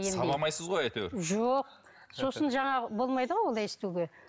сабамайсыз ғой әйтеуір жоқ сосын жаңағы болмайды ғой олай істеуге